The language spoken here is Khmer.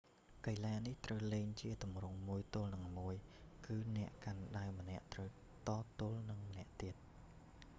កីឡានេះត្រូវលេងជាទម្រង់មួយទល់នឹងមួយ គឺអ្នកកាន់ដាវម្នាក់ត្រូវតទល់នឹងម្នាក់ទៀត